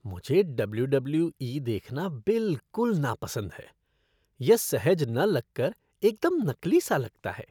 मुझे W W E देखना बिल्कुल नापसंद है। यह सहज न लग कर एकदम नकली सा लगता है।